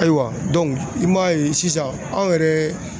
Ayiwa i m'a ye sisan anw yɛrɛ